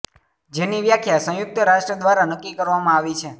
જેની વ્યાખ્યા સંયુક્ત રાષ્ટ્ર દ્વારા નક્કી કરવામા આવી છે